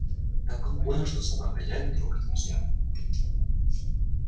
так он понял что собак хозяина трогать нельзя